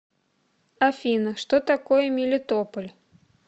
афина что такое мелитополь